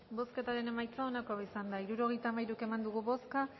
bozketaren emaitza onako izan da hirurogeita hamairu eman dugu bozka